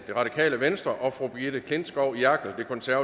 og brigitte klintskov jerkel